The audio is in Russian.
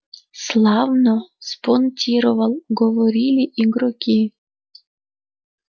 славно спонтировал говорили игроки